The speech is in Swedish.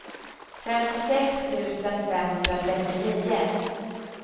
femtiosex tusen femhundratrettionio